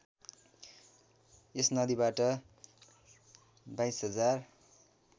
यस नदीबाट २२०००